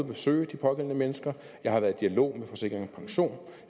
besøge de pågældende mennesker jeg har været i dialog med forsikring pension